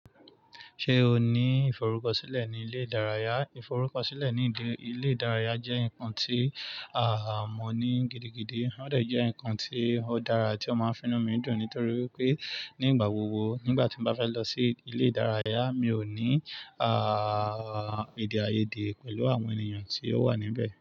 Ṣé o ní ìfọrúkọ̀sílẹ̀ ni ilẹ̀ ìdáràyà? Ìfọrúkọ̀sílẹ̀ ni ilẹ̀ ìdáràyà jẹ́ nǹkan tí a, mọ̀ ní gidigidi. Ó de je nǹkan tí ó dára tí o máa ń fi inú mi dùn, nítorí pé nígbà gbogbo nígbà tí mo bá fẹ́ lọ sí ilẹ̀ ìdáràyà, mi ò ní à èdè àyèdè pẹ̀lú àwọn ènìyàn tí ó wà níbẹ̀